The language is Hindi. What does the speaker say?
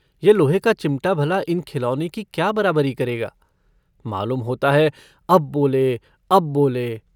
यह लोहे का चिमटा भला इन खिलौने की क्या बराबरी करेगा मालूम होता है अब बोले अब बोले।